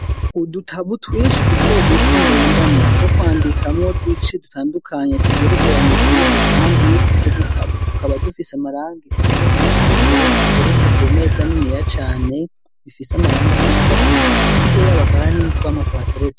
Udutabo twinshi duto duto ngendanwa two kwandikamwo twinshi dutandukanye, tugerekeranye kamwe ku kandi, utwo dutabo tukaba dufise amarangi asa n'umuhondo, tugeretse ku meza niniya cane, bifise amarangi asa n'agahama, hirya yabo hakaba hari n'utwamwa tuhateretse.